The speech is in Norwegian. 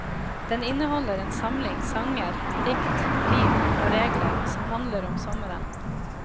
Den inneholder en samling sanger, dikt, rim og regler som handler om sommeren.